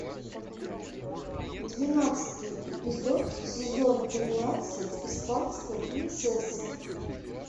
двенадцатый эпизод сезон тринадцать испанская принцесса